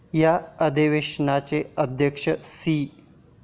या अधिवेशनाचे अध्यक्ष सी.